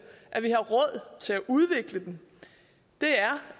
at vi har råd til at udvikle den